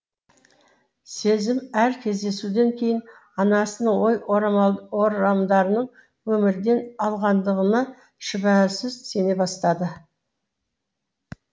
сезім әр кездесуден кейін анасының ой орамал орамдарының өмірден алғандығына шүбәсіз сене бастады